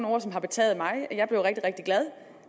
også betaget mig jeg blev rigtig rigtig glad